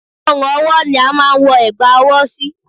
Ọrùn ọwọ́ ni a máa ń wọ ẹ̀gbà ọwọ́ sí